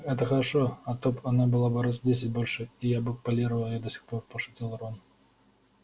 это хорошо а то б она была раз в десять больше и я бы полировал её до сих пор пошутил рон